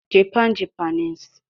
Japan- Japanese